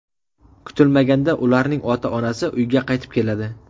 Kutilmaganda ularning ota-onasi uyga qaytib keladi.